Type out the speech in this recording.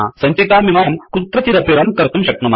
सञ्चिकामिमां कुत्रचिदपि रन कर्तुं शक्नुमः